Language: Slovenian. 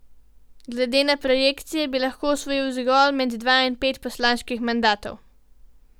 Glede na projekcije bi lahko osvojili zgolj med dva in pet poslanskih mandatov.